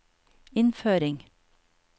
innføring